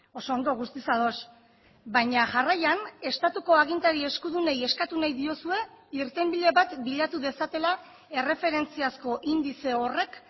oso ondo guztiz ados baina jarraian estatuko agintari eskudunei eskatu nahi diozue irtenbide bat bilatu dezatela erreferentziazko indize horrek